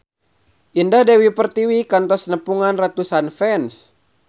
Indah Dewi Pertiwi kantos nepungan ratusan fans